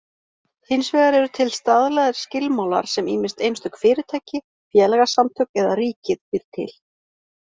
Hins vegar eru til staðlaðir skilmálar sem ýmist einstök fyrirtæki, félagasamtök eða ríkið býr til.